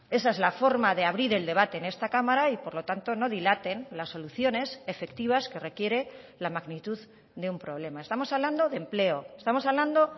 esa es la forma de abrir el debate en esta cámara y por lo tanto no dilaten las soluciones efectivas que requiere la magnitud de un problema estamos hablando de empleo estamos hablando